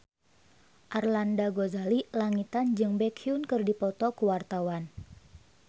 Arlanda Ghazali Langitan jeung Baekhyun keur dipoto ku wartawan